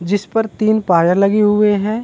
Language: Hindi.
जिस पर तीन पाए लगे हुए हैं।